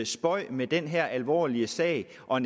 spøg med den her alvorlige sag og